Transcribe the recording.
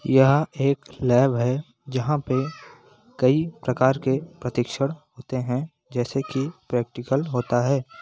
यह एक लेब है जहाँ पे कई प्रकार के प्रतिक्षण होते है जैसे की प्रैक्टिकल होता है।